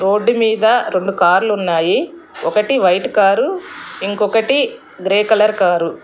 Road మీద రెండు కార్లు ఉన్నాయి ఒకటి వైట్ కారు ఇంకొకటి గ్రే కలర్ కారు.